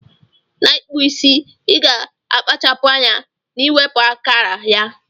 Na ikpụ isi iga akpachapu anya na iweputa akara ya.